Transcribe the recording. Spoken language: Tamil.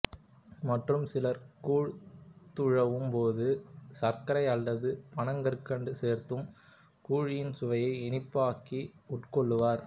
மற்றும் சிலர் கூழ் துழவும் போது சர்க்கரை அல்லது பனங்கற்கண்டு சேர்த்தும் கூழின் சுவையை இனிப்பாக்கி உட்கொள்வர்